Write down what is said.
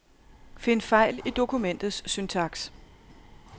Find fejl i dokumentets syntaks.